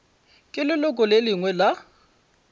ke leloko le lengwe la